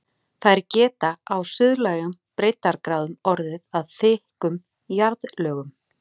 Þær geta á suðlægum breiddargráðum orðið að þykkum jarðlögum.